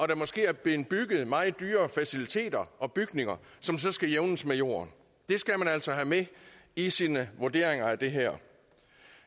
der måske er blevet bygget meget dyre faciliteter og bygninger som så skal jævnes med jorden det skal man altså have med i sine vurderinger af det her